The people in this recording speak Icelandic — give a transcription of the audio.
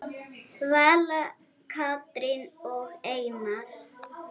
Vala, Katrín og Einar.